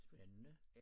Spændende